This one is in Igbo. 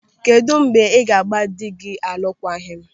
Kedụ mgbe ị ga gba dị gị alụkwaghịm?